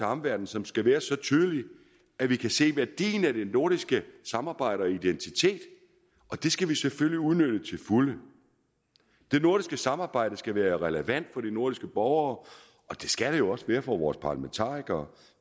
omverdenen som skal være så tydelig at vi kan se værdien af det nordiske samarbejde og identitet og det skal vi selvfølgelig udnytte til fulde det nordiske samarbejde skal være relevant for de nordiske borgere og det skal det jo også være for vores parlamentarikere